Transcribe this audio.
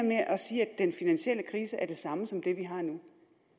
med at sige at den finansielle krise er det samme som det vi har nu